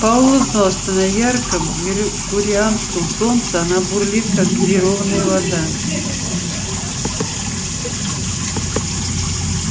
пауэлл знал что на ярком меркурианском солнце она бурлит как газированная вода